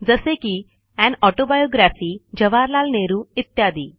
जसे की an autobiography Jawaharlal Nehru इत्यादी